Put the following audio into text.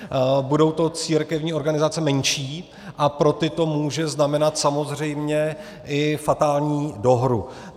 Budou to církevní organizace menší a pro ty to může znamenat samozřejmě i fatální dohru.